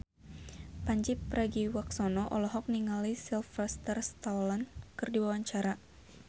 Pandji Pragiwaksono olohok ningali Sylvester Stallone keur diwawancara